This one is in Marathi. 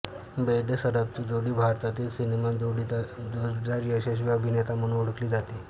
बेर्डेसराफची जोडी भारतीय सिनेमात जोडीदार यशस्वी अभिनेता म्हणून ओळखली जाते